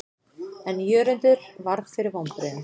En Jörundur varð fyrir vonbrigðum.